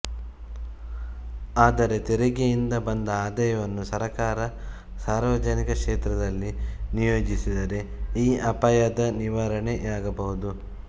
ಆದರೆ ತೆರಿಗೆಯಿಂದ ಬಂದ ಆದಾಯವನ್ನು ಸರ್ಕಾರ ಸಾರ್ವಜನಿಕ ಕ್ಷೇತ್ರದಲ್ಲಿ ನಿಯೋಜಿಸಿದರೆ ಈ ಅಪಾಯದ ನಿವಾರಣೆಯಾಗಬಹುದು